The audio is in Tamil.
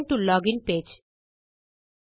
return to login page